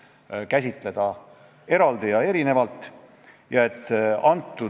Täna aga kõlas mitu korda väide, et selle seaduse rakendumisel väiksemad ettevõtjad lähevad pankrotti.